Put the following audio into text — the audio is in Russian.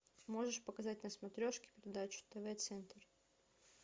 можешь показать на смотрешке передачу тв центр